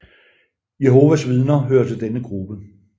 Jehovas Vidner hører til denne gruppe